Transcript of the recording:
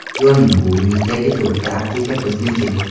Yo‘lning bu yuzidagi to‘rtta apteka bizniki.